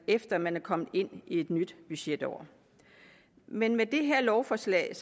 efter man er kommet ind i et nyt budgetår men med det her lovforslag